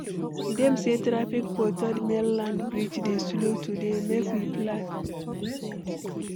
Dem say traffic for Third Mainland Bridge dey slow today, make we plan.